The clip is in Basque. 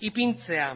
ipintzea